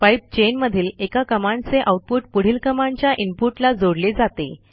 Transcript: pipe chain मधील एका कमांडचे आऊटपुट पुढील कमांडच्या इनपुटला जोडले जाते